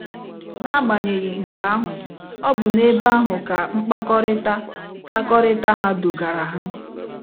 N'agbanyeghị nke ahụ, ọ bụ n'ebe ahụ ka mkpakọrịta mkpakọrịta ha dugara ha.